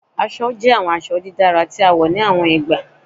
Aṣọ jẹ awọn aṣọ didara ti a wọ ni awọn igba